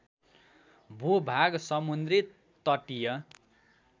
भूभाग समुद्री तटीय